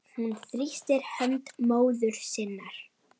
Hún þrýstir hönd móður sinnar.